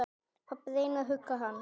Pabbi reyndi að hugga hana.